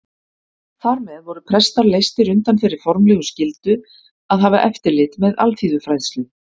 Þar með voru prestar leystir undan þeirri formlegu skyldu að hafa eftirlit með alþýðufræðslu.